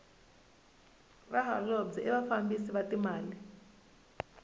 vaholobye i vafambisi va timali